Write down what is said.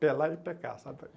Pelar e pecar, sabe?